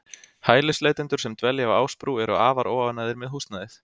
Hælisleitendur sem dvelja á Ásbrú eru afar óánægðir með húsnæðið.